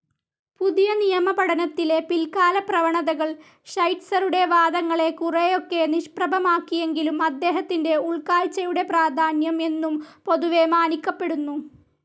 പുതിയനിയമപഠനത്തിലെ പിൽകാലപ്രവണതകൾ ഷൈറ്റ്‌സറുടെ വാദങ്ങളെ കുറെയൊക്കെ നിഷ്പ്രഭമാക്കിയെങ്കിലും അദ്ദേഹത്തിൻ്റെ ഉൾകാഴ്‌ചയുടെ പ്രാധാന്യം എന്നും പൊതുവെ മാനിക്കപ്പെടുന്നു.